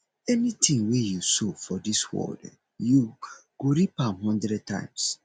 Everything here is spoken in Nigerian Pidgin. anything wey you sow for dis world you go reap am hundred times